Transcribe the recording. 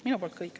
Minu poolt kõik.